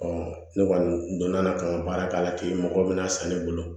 ne kɔni donna ka n ka baara k'a la ten mɔgɔ bɛna san ne bolo